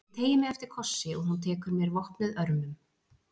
Ég teygi mig eftir kossi og hún tekur mér vopnuð örmum.